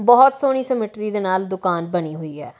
ਬਹੁਤ ਸੋਹਣੀ ਸਮਿੱਟਰੀ ਦੇ ਨਾਲ ਦੁਕਾਨ ਬਣੀ ਹੋਈ ਹੈ।